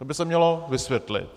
To by se mělo vysvětlit.